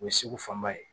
O ye segu fanba ye